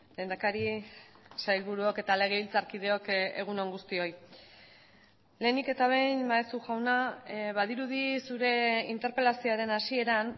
lehendakari sailburuok eta legebiltzarkideok egun on guztioi lehenik eta behin maeztu jauna badirudi zure interpelazioaren hasieran